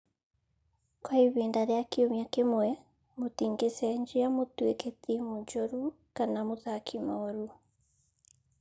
Kwa ihinda rĩa kiumia kĩmwe, mũtingĩcenjia mũtuĩke timu njũru kana mũthaki mũũru.